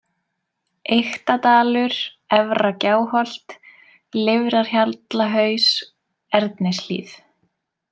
Eyktadalur, Efra-Gjáholt, Lifrarhjallahaus, Ernishlíð